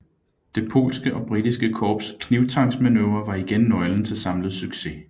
Det polske og britiske korps knibtangsmanøvre var igen nøglen til samlet succes